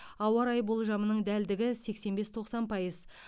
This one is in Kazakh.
ауа райы болжамының дәлдігі сексен бес тоқсан пайыз